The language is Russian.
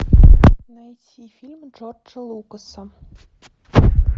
найти фильмы джорджа лукаса